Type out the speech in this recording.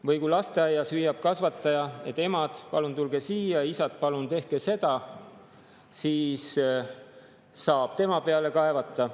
Või kui lasteaias hüüab kasvataja: "Emad, palun tulge siia, ja isad, palun tehke seda," siis saab tema peale kaevata.